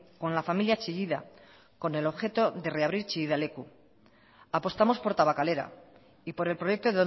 con la familia chillida con el objeto de reabrir chillida leku apostamos por tabakalera y por el proyecto